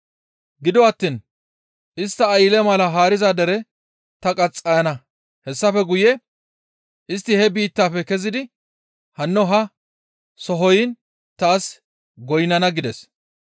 Gido attiin istta aylle mala haariza dere ta qaxxayana; hessafe guye istti he biittafe kezidi hanno ha sohoyin taas goynnana› gides.